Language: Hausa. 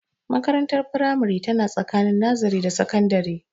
Makarantar firamare tana tsakani nazare da sakandare